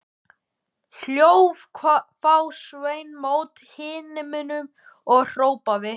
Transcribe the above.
Hló þá Sveinn mót himninum og hrópaði